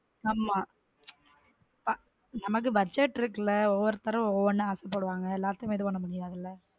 ஆம நமக்கு budget இருக்கு ல ஒரு ஒருத்தரும் ஒன்னு ஒன்னு ஆசைப்படுவாங்க எல்லாருக்கும் இது பண்ண முடியாதுல.